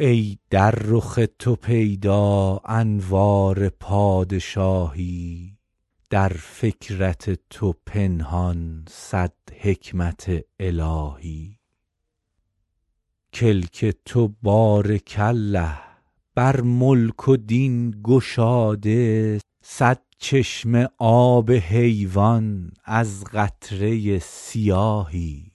ای در رخ تو پیدا انوار پادشاهی در فکرت تو پنهان صد حکمت الهی کلک تو بارک الله بر ملک و دین گشاده صد چشمه آب حیوان از قطره سیاهی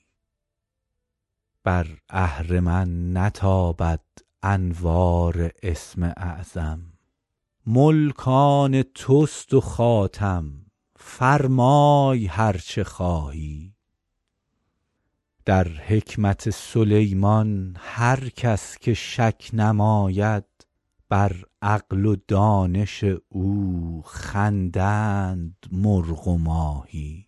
بر اهرمن نتابد انوار اسم اعظم ملک آن توست و خاتم فرمای هر چه خواهی در حکمت سلیمان هر کس که شک نماید بر عقل و دانش او خندند مرغ و ماهی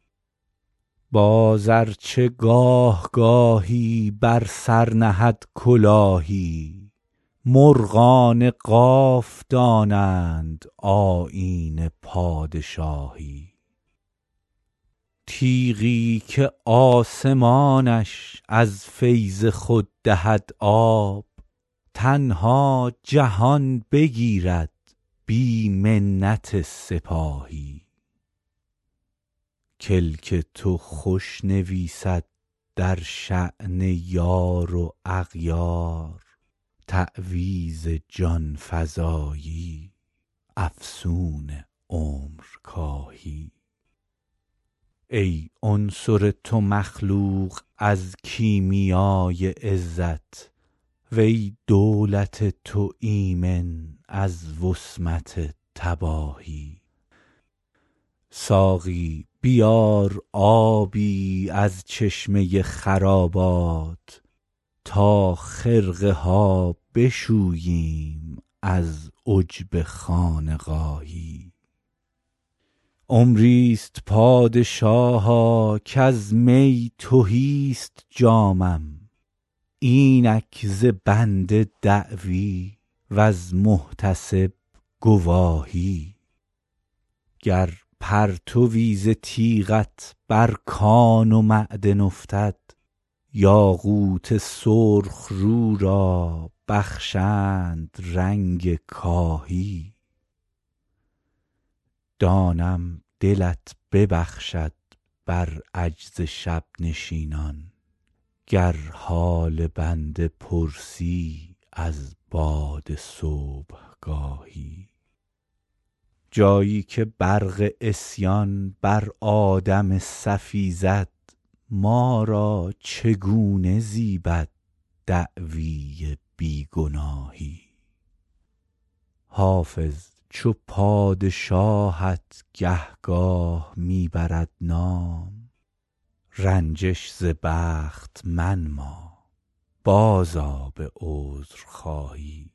باز ار چه گاه گاهی بر سر نهد کلاهی مرغان قاف دانند آیین پادشاهی تیغی که آسمانش از فیض خود دهد آب تنها جهان بگیرد بی منت سپاهی کلک تو خوش نویسد در شأن یار و اغیار تعویذ جان فزایی افسون عمرکاهی ای عنصر تو مخلوق از کیمیای عزت و ای دولت تو ایمن از وصمت تباهی ساقی بیار آبی از چشمه خرابات تا خرقه ها بشوییم از عجب خانقاهی عمری ست پادشاها کز می تهی ست جامم اینک ز بنده دعوی وز محتسب گواهی گر پرتوی ز تیغت بر کان و معدن افتد یاقوت سرخ رو را بخشند رنگ کاهی دانم دلت ببخشد بر عجز شب نشینان گر حال بنده پرسی از باد صبحگاهی جایی که برق عصیان بر آدم صفی زد ما را چگونه زیبد دعوی بی گناهی حافظ چو پادشاهت گهگاه می برد نام رنجش ز بخت منما بازآ به عذرخواهی